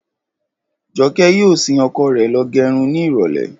Jọkẹ́ yóò sin ọkọ rẹ̀ lọ gẹrun ní ìrọ̀lẹ́